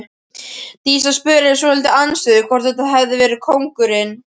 Dísa spurði svolítið andstutt hvort þetta hefði verið kóngurinn.